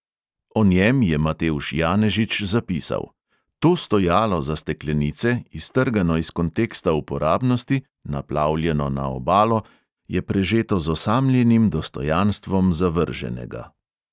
O njem je matevž janežič zapisal: "to stojalo za steklenice, iztrgano iz konteksta uporabnosti, naplavljeno na obalo, je prežeto z osamljenim dostojanstvom zavrženega."